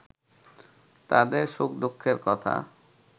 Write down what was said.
তাদের সুখ-দুঃখের কথা